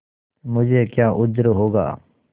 मुझे क्या उज्र होगा